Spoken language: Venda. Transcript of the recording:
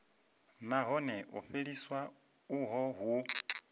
nahone u fheliswa uho hu